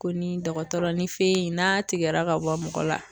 Ko ni dɔgɔtɔrɔ ni fe in n'a tigɛra ka bɔ mɔgɔ la